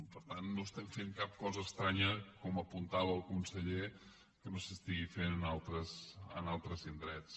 per tant no estem fent cap cosa estranya com apuntava el conseller que no s’estigui fent en altres indrets